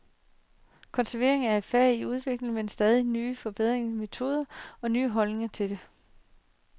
Konservering er et fag i udvikling, med stadig nye forbedrede metoder og nye holdninger til det.